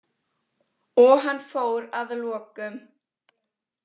Og hann fór að lokum.